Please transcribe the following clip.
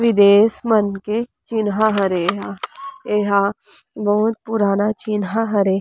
ये देश मन के चिनहा हरे ये ह ये ह बहुत पूराना चिनहा हरे--